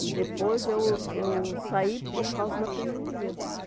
E depois eu eu saí por causa da pneumonia.